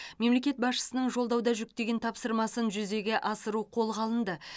мемлекет басшысының жолдауда жүктеген тапсырмасын жүзеге асыру қолға алынды